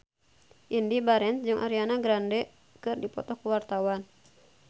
Indy Barens jeung Ariana Grande keur dipoto ku wartawan